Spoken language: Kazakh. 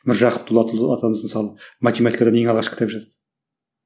міржақып дулатұлы атамыз мысалы математикадан ең алғаш кітап жазды